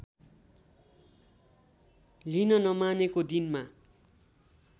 लिन नमानेको दिनमा